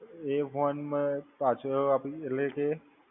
એ phone મેં પાછો આપી એટલે કે